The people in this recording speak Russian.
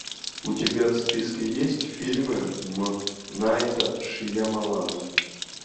у тебя в списке есть фильмы м найта шьямалана